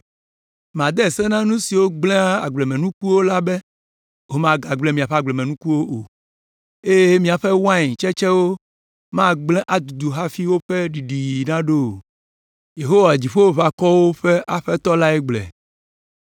Made se na nu siwo gblẽa agblemenukuwo la be womagblẽ míaƒe agblemenukuwo o, eye miaƒe wain tsetsewo magblẽ adudu hafi woƒe ɖiɖiɣi naɖo o.” Yehowa Dziƒoʋakɔwo ƒe Aƒetɔ lae gblɔe.